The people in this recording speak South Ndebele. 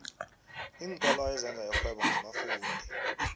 iinkolo ezenza irhwebo ngabafundi